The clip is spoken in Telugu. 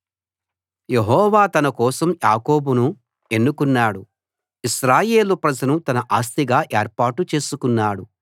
యెహోవా తన కోసం యాకోబును ఎన్నుకున్నాడు ఇశ్రాయేలు ప్రజను తన ఆస్తిగా ఏర్పాటు చేసుకున్నాడు